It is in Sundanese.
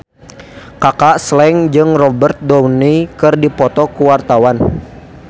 Kaka Slank jeung Robert Downey keur dipoto ku wartawan